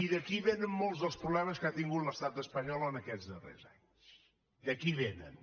d’aquí vénen molts dels problemes que ha tingut l’estat espanyol en aquests darrers anys d’aquí vénen